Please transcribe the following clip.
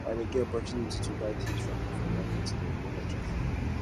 i dey get opportunity to buy tins from differen market dem wen i travel